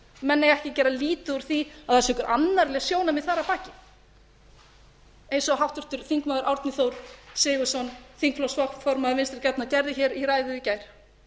menn eiga ekki að gera lítið úr því að það séu einhver annarleg sjónarmið þar að baki eins og háttvirtur þingmaður árni þór sigurðsson þingflokksformaður vinstri grænna gerði hér í ræðu í gær